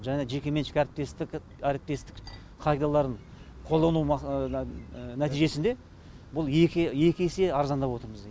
және жеке меншік әріптестік пайдаларын қолдану нәтижесіне бұл екі есе арзандап отырмыз